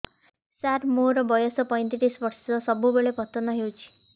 ସାର ମୋର ବୟସ ପୈତିରିଶ ବର୍ଷ ସବୁବେଳେ ପତନ ହେଉଛି